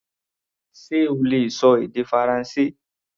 Ṣe o lè ṣọ èdè Faransé?